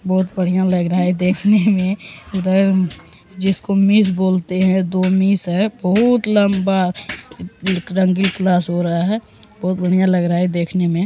बहोत बढ़िया लग रहा है देखने में उधर जिसको मेज बोलते हैं दो मेस है बहोत लम्बा क्लास हो रहा है बहोत बढ़िया लग रहा है देखने में।